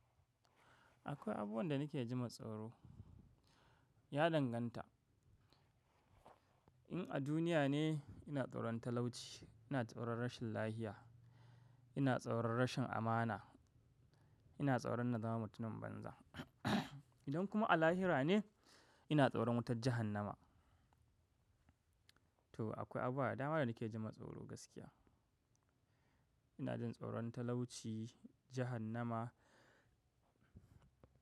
Akwai abubuwan da nake jima tsoro. Ya danganta. In a duniya ne ina tsoron talauci, ina tsoron rashin lafiya, ina tsoron rashin amana, ina tsoron na zama mutumin banza. Idan kuma a lahira ne ina tsoron wutar jahannama. To akwai abubuwa da dama da nake jima tsoro gaskiya. Ina jin tsoron talauci, jahannama.